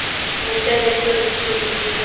mopeleto le tshebe diso e